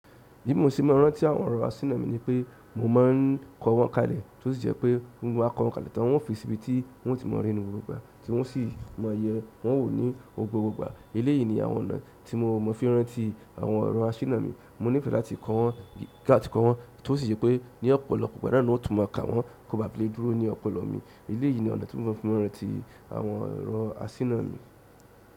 Bí mo ṣe máa ń rántí àwọn ọ̀rọ̀ asíná mi ni pé mo máa ń kọ wọ́n kalẹ̀ tó sì jẹ́ pé bi mo ba kọ wọ́n kalẹ̀ tán, un ó fi síbi tí un ó ti mọ̀ rí ni gbogbo ìgbà tí un o sì máa yẹ wọ́n wo ní gbogbo ìgbà. Eléyìí ni àwọn ọ̀nà ti mo fi maa n rántí àwọn ọ̀rọ̀ asina mi mo nífẹ̀ẹ́ láti kọ́ wọ́n, tó sì jẹ́ pé ní ọ̀pọ̀lọpọ̀ ìgbà náà ni un ó tún mọ̀ ka wọ́n kó ba lè dúró ní ọ̀pọ̀lọpọ̀ mi. Eléyìí ni ọ̀nà tí mo mọ̀ fí n rántí àwọn ọ̀rọ̀ asíná mi.